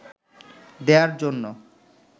দেয়ার জন্য